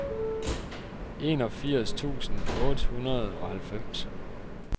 enogfirs tusind otte hundrede og halvfems